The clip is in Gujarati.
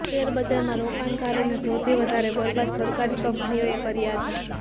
શેર બજારમાં રોકણકારોને સૌથી વધારે બર્બાદ સરકારી કંપનીઓએ કર્યા છે